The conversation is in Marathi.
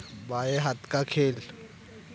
बाये हाथ का खेल